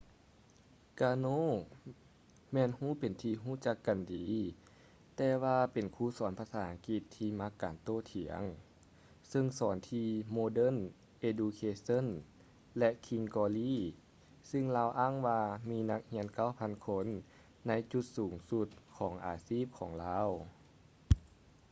ກາໂນ karno ແມ່ນຮູ້ເປັນທີ່ຮູ້ຈັກກັນດີ ແຕ່ວ່າເປັນຄູສອນພາສາອັງກິດທີ່ມັກການໂຕ້ຖຽງກັນ ຊຶ່ງສອນທີ່ ໂມເດີນ ເອດູເຄເຊີ່ນ modern education ແລະ ຄິງສ໌ ກຼໍລີ່ king's glory ຊຶ່ງລາວອ້າງວ່າມີນັກຮຽນ 9,000 ຄົນໃນຈຸດສູງສຸດຂອງອາຊີບຂອງລາວ